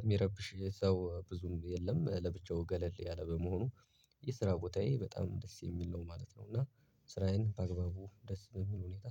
የሚረብሽ ሰው ብዙም የለም ለብቻው ገለል ያለ በመሆኑ። የስራ ቦታዬ በጣም ደስ የሚል ነው ማለት ነው። እና ስራዬን በአግበቡ ደስ በሚል ሁኔታ